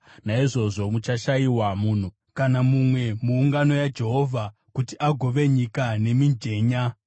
Naizvozvo muchashayiwa munhu kana mumwe, muungano yaJehovha, kuti agove nyika nemijenya.